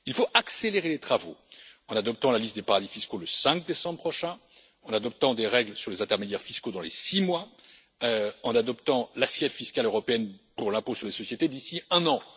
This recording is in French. Il faut accélérer les travaux en adoptant la liste des paradis fiscaux le 5 décembre prochain, en adoptant des règles sur les intermédiaires fiscaux dans les six mois, en adoptant l'assiette fiscale européenne pour l'impôt sur les sociétés d'ici un